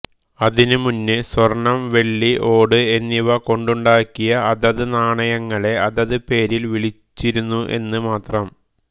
അതിനു മുന്ന് സ്വർണ്ണം വെള്ളി ഓട് എന്നിവ കൊണ്ടുണ്ടാക്കിയ അതത് നാണയങ്ങളെ അതത് പേരിൽ വിളിച്ചിരുന്നു എന്ന് മാത്രം